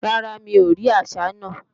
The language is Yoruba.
Rárá, mi ò rí àsá náà